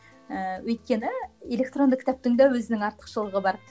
ыыы өйткені электронды кітаптың да өзінің артықшылығы бар